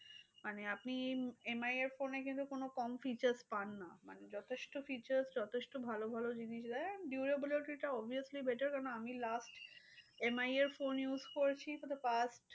মানে আপনি MI এর phone কিন্তু কোনো কম features পান না? মানে যথেষ্ট features যথেষ্ট ভালো ভালো জিনিস দেয়। durability টা obviously better কেন আমি last MI এর phone use করেছি for the past